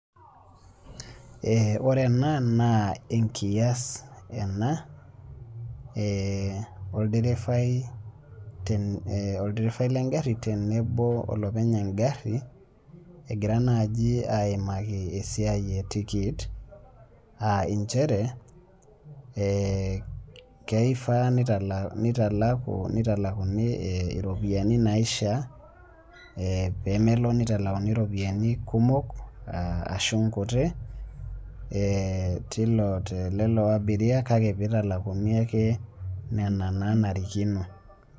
Eeh ore ena naa enkias ena eeh olderefai ee olderefai lengarri tenebo olopeny engarri egira naji aimaki esiai etiket ah inchere eeh keiraa neitalaku, neitalakuni eh iropiyani naishaa eh pemelo neitalakuni ropiyani kumok ashu nkuti eeh telelo abiria kake peitalakuni ake nena naanarikino.